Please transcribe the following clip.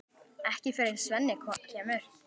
Ekki fyrr en Svenni kemur.